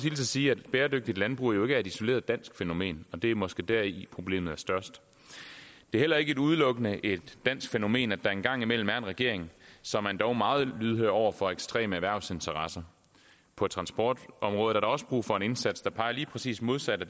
sige at bæredygtigt landbrug jo ikke er et isoleret dansk fænomen og det er måske deri problemet er størst det er heller ikke udelukkende et dansk fænomen at der en gang imellem er en regering som er endog meget lydhør over for ekstreme erhvervsinteresser på transportområdet er der også brug for en indsats der peger lige præcis modsat af